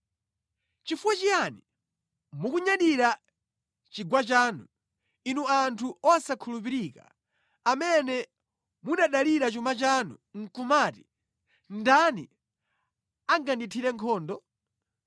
Chifukwa chiyani mukunyadira chigwa chanu, inu anthu osakhulupirika amene munadalira chuma chanu nʼkumati: ‘Ndani angandithire nkhondo?’